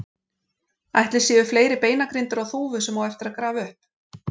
Ætli séu fleiri beinagrindur á Þúfu sem á eftir að grafa upp?